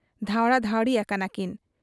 ᱫᱷᱟᱶᱬᱟ ᱫᱷᱟᱹᱣᱬᱤ ᱟᱠᱟᱱᱟ ᱠᱤᱱ ᱾